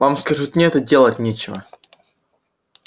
вам скажут нет и делать нечего